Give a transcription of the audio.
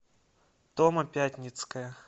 тома пятницкая